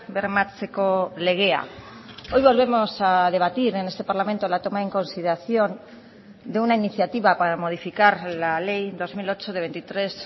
bermatzeko legea hoy volvemos a debatir en este parlamento la toma en consideración de una iniciativa para modificar la ley dos mil ocho de veintitrés